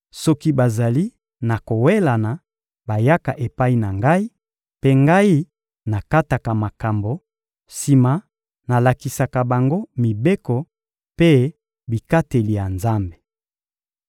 Soki bazali na kowelana, bayaka epai na ngai; mpe ngai nakataka makambo, sima nalakisaka bango mibeko mpe bikateli ya Nzambe.